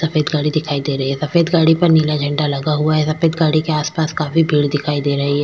सफ़ेद गाड़ी दिखाई दे रही है सफ़ेद गाड़ी पर नीला झेंडा लगा हुआ है सफ़ेद गाड़ी के आसपास काफी सारे पेड़ दिखाई दे रहे है।